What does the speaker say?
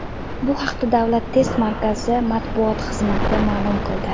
Bu haqda Davlat test markazi matbuot xizmati ma’lum qildi .